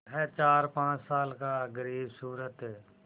वह चारपाँच साल का ग़रीबसूरत